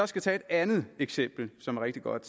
skal tage et andet eksempel som er rigtig godt